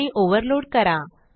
आणि ओव्हरलोड करा